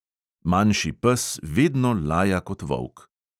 Manjši pes vedno laja kot volk.